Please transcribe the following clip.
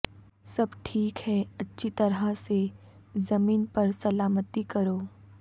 سب ٹھیک ہے اچھی طرح سے زمین پر سلامتی کرو